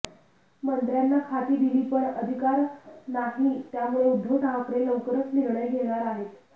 मंत्र्यांना खाती दिली पण अधिकार नाही त्यामुळे उद्धव ठाकरे लवकरच निर्णय घेणार आहेत